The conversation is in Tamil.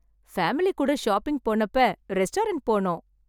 பேமிலி கூட ஷாப்பிங் போனப்ப ரெஸ்டாரண்ட் போனோம்.